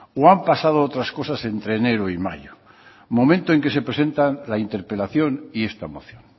o han pasado otras cosas entre enero y mayo momento en que se presentan la interpelación y esta moción